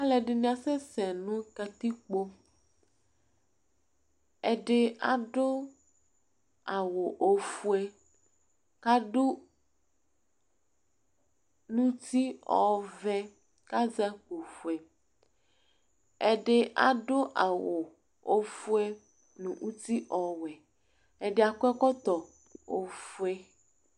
alɛdini asɛsɛ nu katikpo ɛdi adu awu ofue kadu nuti ɔvɛ kazakpo fue ɛdi adu awu ofue nu uti ɔwɛ ɛdiakɔkɔtɔ ofue